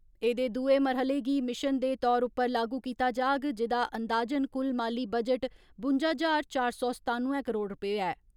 एहदे दुए मरह्ले गी मिशन दे तौर उप्पर लागू कीता जाग, जेहदा अंदाजन कुल माली बजट बुंजा ज्हार चौर सौ सतानुए करोड़ रपे ऐ।